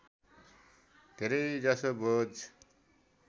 धेरै जसो बोझ